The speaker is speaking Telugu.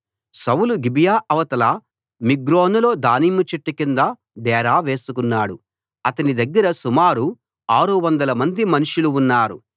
సౌలు గిబియా అవతల మిగ్రోనులో దానిమ్మ చెట్టు కింద డేరా వేసుకున్నాడు అతని దగ్గర సుమారు ఆరు వందలమంది మనుషులు ఉన్నారు